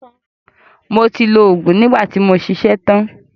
Mo ti lo òògùn nígbà tí mo ṣiṣẹ́ tan.